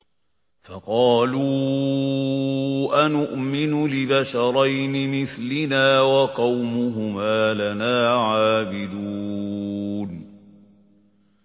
فَقَالُوا أَنُؤْمِنُ لِبَشَرَيْنِ مِثْلِنَا وَقَوْمُهُمَا لَنَا عَابِدُونَ